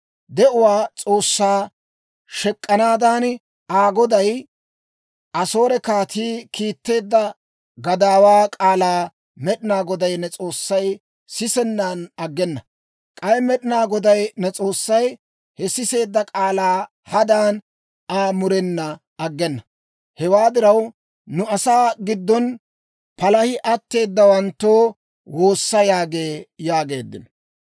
De'uwaa S'oossaa shek'k'anaadan, Aa goday, Asoore kaatii, kiitteedda gadaawaa k'aalaa Med'inaa Goday ne S'oossay sisennan aggena. K'ay Med'inaa Goday ne S'oossay he siseedda k'aalaa hadan Aa murenan aggena. Hewaa diraw, nu asaa giddon palahi attanawanttoo woossa!› yaagee» yaageeddino.